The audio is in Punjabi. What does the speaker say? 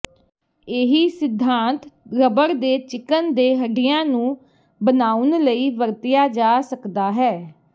ਇਹੀ ਸਿਧਾਂਤ ਰਬੜ ਦੇ ਚਿਕਨ ਦੇ ਹੱਡੀਆਂ ਨੂੰ ਬਣਾਉਣ ਲਈ ਵਰਤਿਆ ਜਾ ਸਕਦਾ ਹੈ